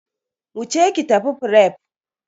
Wuce ki tafi fref.